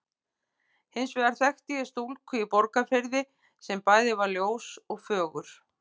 Hins vegar þekkti ég stúlku í Borgarfirði sem bæði var ljós og fögur.